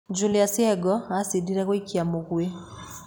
Julie's Yego acindire gũikia mũgwĩ.